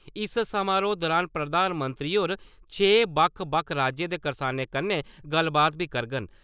इस समारोह दुरान प्रधानमंत्री होर छे बक्ख -बक्ख राज्यें दे करसानें कन्नै गल्लबात बी करगन ।